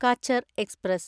catcher express